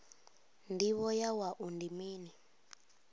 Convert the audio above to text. ndivho ya wua ndi mini